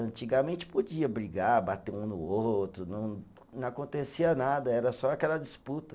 Antigamente podia brigar, bater um no outro, não não acontecia nada, era só aquela disputa.